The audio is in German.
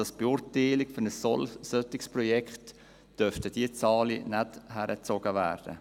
Für die Beurteilung eines solchen Projekts dürften diese Zahlen nicht beigezogen werden.